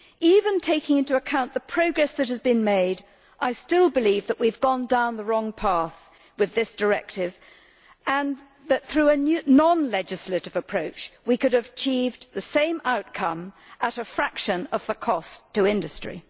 Even taking into account the progress that has been made, I still believe that we have gone down the wrong path with this directive and that, through a non legislative approach, we could have achieved the same outcome at a fraction of the cost to industry.